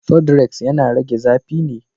Sudrex yana rage zafi ne.